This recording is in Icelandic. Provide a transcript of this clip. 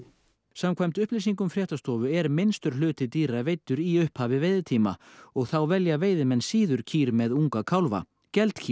samkvæmt upplýsingum fréttastofu er minnstur hluti dýra veiddur í upphafi veiðitíma og þá velja veiðimenn síður kýr með unga kálfa